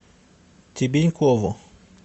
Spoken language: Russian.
тебенькову